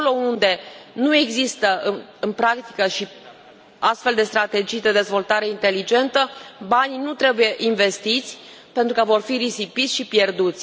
Acolo unde nu există în practică și astfel de strategii de dezvoltare inteligentă, banii nu trebuie investiți, pentru că vor fi risipiți și pierduți.